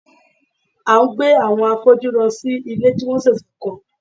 A ń gbé àwọn afọ́jú lọ sí ilé tí wọ́n ṣẹ̀ṣẹ̀ kọ́